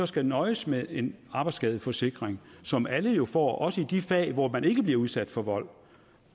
skal nøjes med en arbejdsskadeforsikring som alle jo får også i de fag hvor man ikke bliver udsat for vold